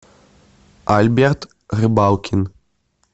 альберт рыбалкин